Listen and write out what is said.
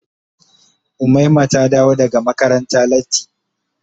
Umaima ta dawo daga makaranta latti.